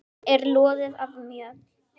er loðið af mjöll.